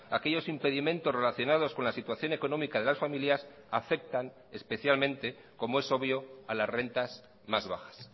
aquellos impedimentos relacionados con la situación económica de las familias afectan especialmente como es obvio a las rentas más bajas